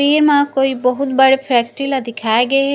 तस्वीर में कोई बहुत बड़े फैक्ट्री ला दिखाए गे हे।